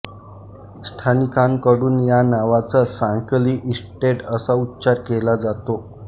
स्थानिकांकडून या नावाचा सांकली इस्टेट असा उच्चार केला जातो